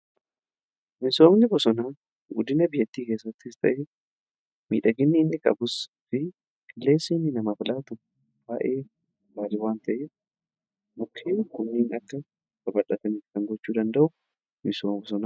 Misoomni bosona guddina biyyattii keessattiis ta'e miidhaginnii inni qabu fi qilleensi namaaf laatu baay'ee gaarii waan ta'eef mukkeen kunniin akka guddataniif kan gochuu danda'u misooma bosonaati.